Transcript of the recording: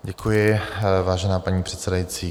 Děkuji, vážená paní předsedající.